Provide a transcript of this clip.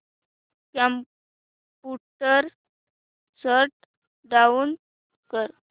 computer shut down कर